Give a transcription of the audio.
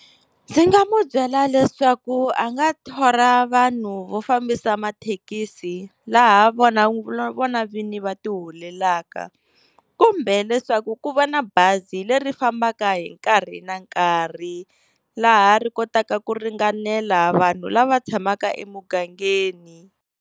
Ndzi nga mu byela leswaku a nga thola vanhu vo fambisa mathekisi, laha vona vona vini va ti holelaka kumbe leswaku ku va na bazi leri fambaka hi nkarhi na nkarhi, laha ri kotaka ku ringanela vanhu lava tshamaka emugangeni.